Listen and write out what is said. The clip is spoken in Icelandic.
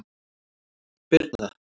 Birna